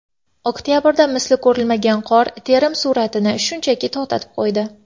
Oktabrdagi misli ko‘rilmagan qor terim sur’atini shunchaki to‘xtatib qo‘ydi.